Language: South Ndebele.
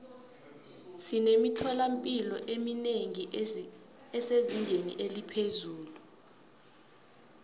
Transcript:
sinemithola mpilo eminengi esezingeni eliphezulu